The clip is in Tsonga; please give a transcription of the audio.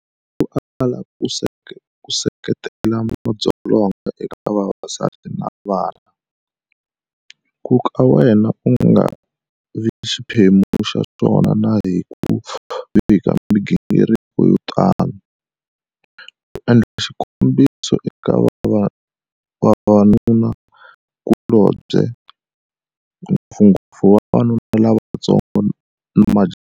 Hi ku ala ku seketela madzolonga eka vavasati na vana, ku ka wena u nga vi xiphemu xa swona na hi ku vika migingiriko yo tano, u endla xikombiso eka vavanunakulobye, ngopfungopfu vavanuna lavantsongo na majaha.